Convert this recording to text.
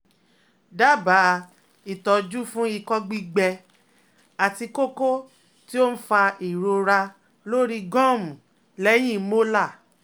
Dábàá ìtọ́jú fún ìkọ gbígbẹ àti koko ti oun fa ìrora lórí gọ́ọ̀mù lẹ́yìn molar